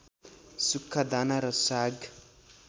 सुक्खा दाना र साग